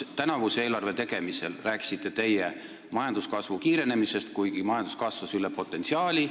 Tänavuse eelarve tegemisel rääkisite teie majanduskasvu kiirenemisest, kuigi majandus kasvas üle potentsiaali.